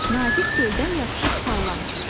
Nazik teldən yapışıb sallanır.